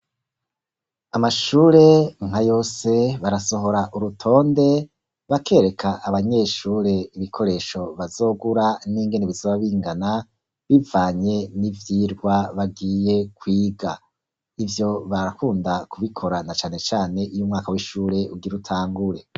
Amashure nka yose, barasohora urutonde, bakereka abanyeshure, ibikoresho bazogura, n'ingene bizoba bingana, bivanye n'ivyigwa bagiye kwiga; ivyo barakunda kubikora, na cane cane, iyo umwaka w'ishure ugira utangure.